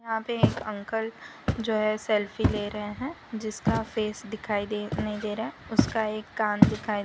यहां पे एक अंकल जो है सेल्फी ले रहे हैं जिसका फेस दिखाई दे नहीं दे रहा है उसका एक कान दिखाई दे --